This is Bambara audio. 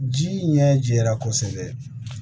Ji ɲɛ jɛra kosɛbɛ